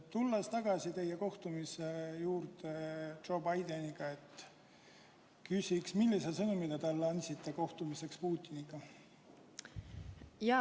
Tulles tagasi teie kohtumise juurde Joe Bideniga, küsin, millise sõnumi te talle andsite kohtumiseks Putiniga?